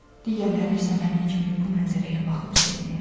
Digərləri isə mənim kimi bu mənzərəyə baxıb sevinir.